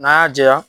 N'an y'a jɛya